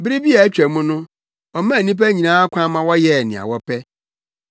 Bere bi a atwa mu no, ɔmaa nnipa nyinaa kwan ma wɔyɛɛ nea wɔpɛ.